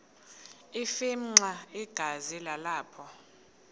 afimxa igazi nalapho